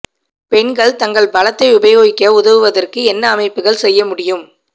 பெண்கள் தங்கள் பலத்தை உபயோகிக்க உதவுவதற்கு என்ன அமைப்புகள் செய்ய முடியும்